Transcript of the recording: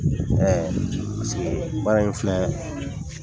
Ɛɛ paseke baara in filɛ